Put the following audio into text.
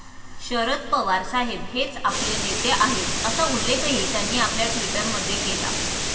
शरद पवार साहेब हेच आपले नेते आहेत, असा उल्लेखही त्यांनी आपल्या ट्विटमध्ये केला.